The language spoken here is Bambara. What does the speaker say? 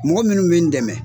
Mɔgɔ minnu bɛ n dɛmɛ